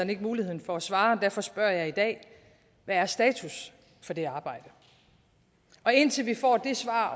ikke mulighed for at svare og derfor spørger jeg i dag hvad er status for det arbejde indtil vi får det svar